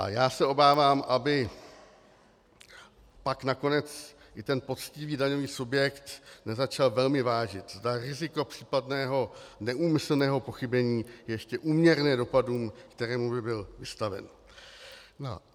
A já se obávám, aby pak nakonec i ten poctivý daňový subjekt nezačal velmi vážit, zda riziko případného neúmyslného pochybení je ještě úměrně dopadům, kterým by byl vystaven.